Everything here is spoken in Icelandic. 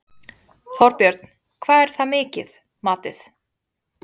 Þorbjörn: Hvað er það mikið, matið?